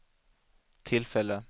tillfälle